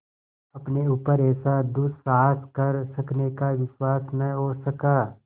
अपने ऊपर ऐसा दुस्साहस कर सकने का विश्वास न हो सका